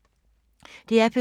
DR P2